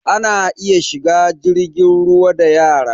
Ana iya shiga jirgin ruwa da yara